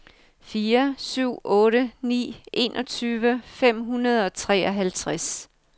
fire syv otte ni enogtyve fem hundrede og treoghalvtreds